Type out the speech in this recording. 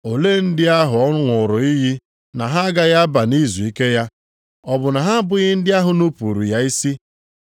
Olee ndị ahụ ọ ṅụụrụ iyi na ha agaghị aba nʼizuike ya? Ọ bụ na ha abụghị ndị ahụ nupuuru ya isi?